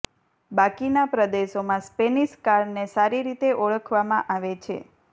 બાકીના પ્રદેશોમાં સ્પેનિશ કારને સારી રીતે ઓળખવામાં આવે છે